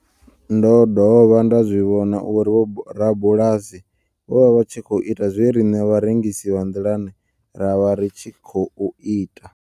Ndo dovha nda zwi vhona uri vhorabulasi vho vha vha tshi khou ita zwe riṋe vharengisi vha nḓilani ra vha ri tshi khou ita.